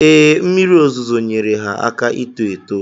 Ee, mmiri ozuzo nyeere ha aka ito eto.